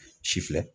Si filɛ